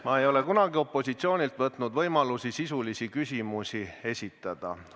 Ma ei ole kunagi opositsioonilt võtnud võimalusi sisulisi küsimusi esitada.